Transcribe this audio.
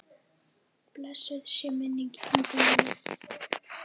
Blessuð sé minning Ingu Jónu.